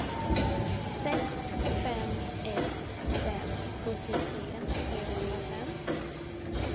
sex fem ett fem sjuttiotre trehundrafem